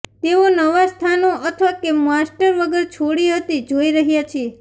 તેઓ નવા સ્થાનો અથવા તે કે માસ્ટર વગર છોડી હતી જોઈ રહ્યા છીએ